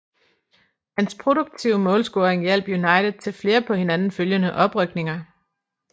Hans produktive målscoring hjalp United til flere på hinanden følgende oprykninger